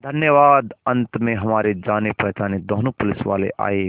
धन्यवाद अंत में हमारे जानेपहचाने दोनों पुलिसवाले आए